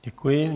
Děkuji.